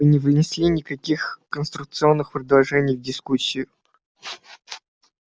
вы не внесли никаких конструктивных предложений в дискуссию